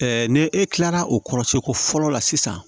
ni e kilara o kɔrɔ seko fɔlɔ la sisan